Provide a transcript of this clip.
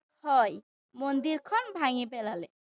হয়। মন্দিৰখন ভাঙি পেলালে।